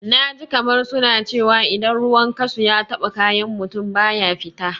Na ji kamar suna cewa idan ruwan kashu ya taɓa kayan mutum, baya fita.